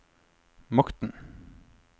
makten